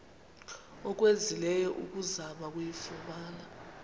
owenzileyo ukuzama ukuyifumana